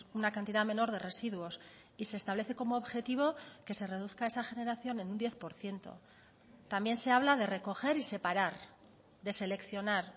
una cantidad menor de residuos y se establece como objetivo que se reduzca esa generación en un diez por ciento también se habla de recoger y separar de seleccionar